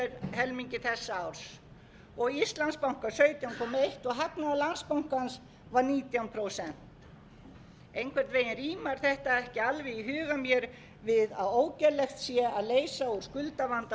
helmingi þessa árs og íslandsbanka sautján komma eitt prósent og hagnaður landsbankans var nítján prósent einhvern veginn rímar þetta ekki alveg í huga mér við að ógerlegt sé að leysa úr skuldavanda